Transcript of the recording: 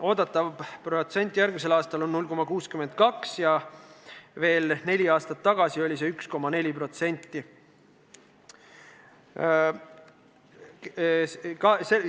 Oodatav protsent järgmisel aastal on 0,62, ent veel neli aastat tagasi oli see 1,4.